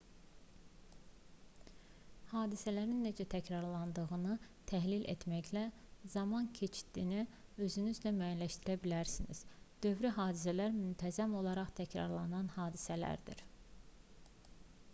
hadisələrin necə təkrarlandığını təhlil etməklə zaman keçidini özünüz də müəyyənləşdirə bilərsiniz dövri hadisələr müntəzəm olaraq təkrarlanan hadisələrdir